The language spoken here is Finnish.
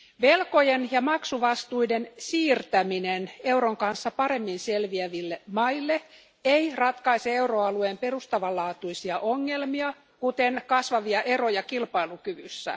Velkojen ja maksuvastuiden siirtäminen euron kanssa paremmin selviäville maille ei ratkaise euroalueen perustavanlaatuisia ongelmia, kuten kasvavia eroja kilpailukyvyssä.